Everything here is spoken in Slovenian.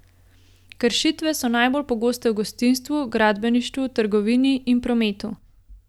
Kršitve so najbolj pogoste v gostinstvu, gradbeništvu, trgovini in prometu.